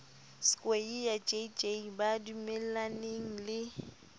skweyiya jj ba dumellaneng le